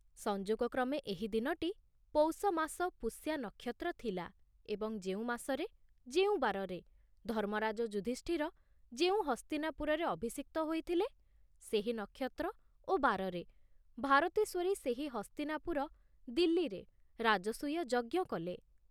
ସଂଯୋଗକ୍ରମେ ଏହି ଦିନଟି ପୌଷ ମାସ ପୁଷ୍ୟା ନକ୍ଷତ୍ର ଥିଲା ଏବଂ ଯେଉଁ ମାସରେ, ଯେଉଁ ବାରରେ ଧର୍ମରାଜ ଯୁଧୁଷ୍ଠିର ଯେଉଁ ହସ୍ତିନାପୁରରେ ଅଭିଷିକ୍ତ ହୋଇଥିଲେ, ସେହି ନକ୍ଷତ୍ର ଓ ବାରରେ ଭାରତେଶ୍ଵରୀ ସେହି ହସ୍ତିନାପୁର ଦିଲ୍ଲୀରେ ରାଜସୂୟ ଯଜ୍ଞ କଲେ।